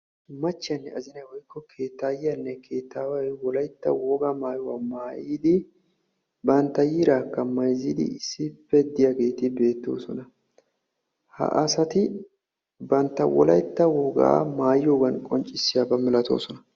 Machiyanne azinay woykko keettaayyiyaanne keettaaway wolaytta wogaa maayuwaa maayiddi bantta yiiraakka mayizzidi issippe diyageeti beetosonna. ha asati bantta wolaytta wogaa maayiyoogan qonccissiyaaba malatoosona.